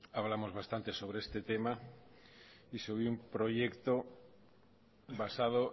hablamos bastante sobre este tema y sobre un proyecto basado